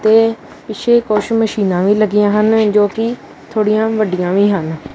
ਤੇ ਪਿੱਛੇ ਕੁਛ ਮਸ਼ੀਨਾਂ ਵੀ ਲੱਗਿਆਂ ਹਨ ਜੋਕਿ ਥੋੜਿਆਂ ਵੱਡੀਆਂ ਵੀ ਹਨ।